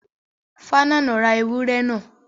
Falana ra ewúrẹ́ náà?